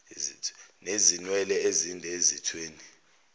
nezinwele ezinde ezithweni